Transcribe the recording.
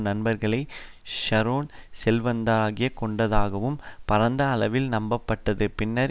நண்பர்களை ஷரோன் செல்வந்தராக்கிக் கொண்டதாகவும் பரந்த அளவில் நம்பப்பட்டது பின்னர்